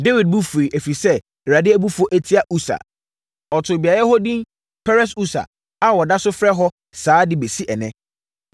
Dawid bo fuiɛ, ɛfiri sɛ Awurade abufuo atia Usa. Ɔtoo beaeɛ hɔ edin Peres-Usa a wɔda so frɛ hɔ saa de bɛsi ɛnnɛ.